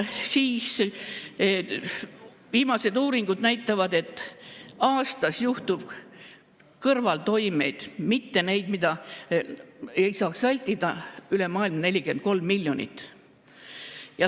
Viimased uuringud näitavad, et aastas tekib kõrvaltoimeid – mitte selliseid, mida ei saakski vältida – üle maailma 43 miljonit.